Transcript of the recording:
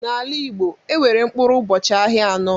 N'ala Igbo, enwere mkpụrụ ụbọchị ahịa anọ.